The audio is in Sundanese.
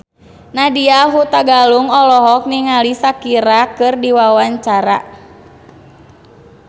Nadya Hutagalung olohok ningali Shakira keur diwawancara